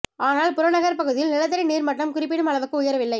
ஆனால் புறநகர் பகுதியில் நிலத்தடி நீர் மட்டம் குறிப்பிடும் அளவுக்கு உயரவில்லை